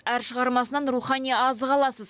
әр шығармасынан рухани азық аласыз